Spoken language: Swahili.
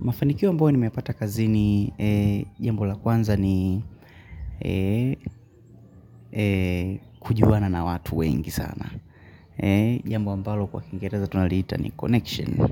Mafanikio ambao nimepata kazini, jambo la kwanza ni kujuana na watu wengi sana. Jambo ambalo kwa kiingereza tunaliita ni connection.